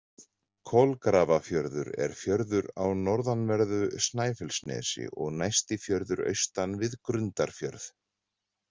Kolgrafafjörður er fjörður á norðanverðu Snæfellsnesi og næsti fjörður austan við Grundarfjörð.